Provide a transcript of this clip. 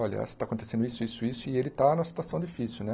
Olha, está acontecendo isso, isso, isso, e ele está numa situação difícil, né.